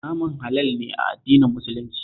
Naman halal ne a addinin Muslunci